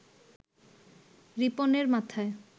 রিপনের মাথায়